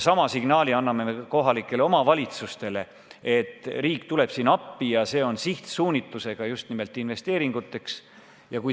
Sama signaali anname kohalikele omavalitsustele: riik tuleb appi sihtsuunitlusega just nimelt investeeringute tegemiseks.